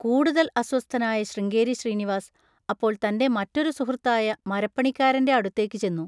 കൂടുതൽ അസ്വസ്ഥനായ ശൃംഗേരി ശ്രീനിവാസ് അപ്പോൾ തൻ്റെ മറ്റൊരു സുഹൃത്തായ മരപ്പണിക്കാരൻ്റെ അടുത്തേക്ക് ചെന്നു.